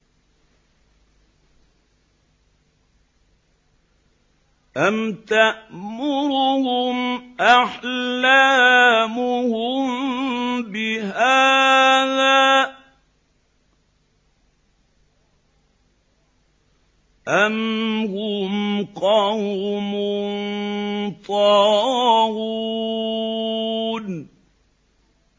أَمْ تَأْمُرُهُمْ أَحْلَامُهُم بِهَٰذَا ۚ أَمْ هُمْ قَوْمٌ طَاغُونَ